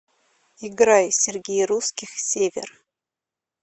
играй сергей русских север